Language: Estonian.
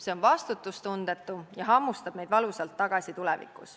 See on vastutustundetu ja hammustab meid tulevikus valusalt tagasi.